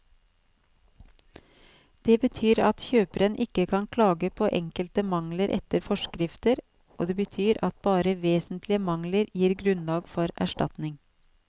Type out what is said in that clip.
Det betyr at kjøperen ikke kan klage på enkelte mangler etter forskrifter, og det betyr at bare vesentlige mangler gir grunnlag for erstatning.